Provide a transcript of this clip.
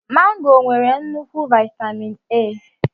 Mango nwere nnukwu vitamin A.